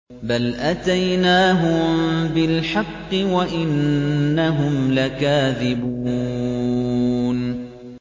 بَلْ أَتَيْنَاهُم بِالْحَقِّ وَإِنَّهُمْ لَكَاذِبُونَ